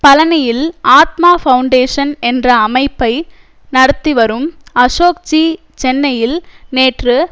பழனியில் ஆத்ம பவுண்டேஷன் என்ற அமைப்பை நடத்திவரும் அசோக்ஜி சென்னையில் நேற்று